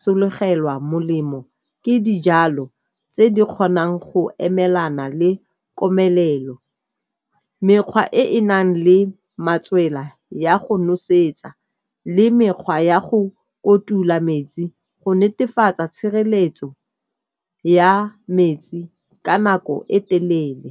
sologelwa molemo ke dijalo tse di kgonang go emelana le komelelo, mekgwa e e nang le matswela ya go nosetsa le mekgwa ya go kotula metsi go netefatsa tshireletso ya metsi ka nako e telele.